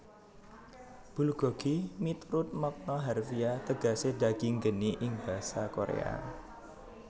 Bulgogi miturut makna harfiah tegesé daging geni ing basa Koréa